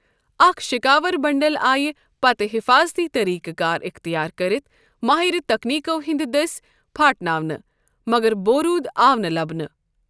اَکھ شَکاوربنڈل آیِہ پتہٕ حِفٲظتی طریقہٕ کار اِختِیار کٔرِتھ مٲہر تکنیٖکو ہِنٛدِ دٔسۍ پھاٹناونہٕ ، مگر بوروُد آو نہٕ لبنہٕ ۔